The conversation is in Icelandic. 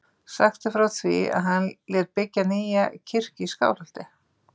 Sagt er frá því að hann lét byggja nýja kirkju í Skálholti.